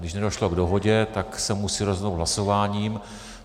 Když nedošlo k dohodě, tak se musí rozhodnout hlasováním.